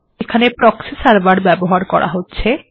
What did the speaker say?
এখানে proxy server ব্যবহার করা হচ্ছে